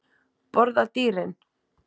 Borða dýrin?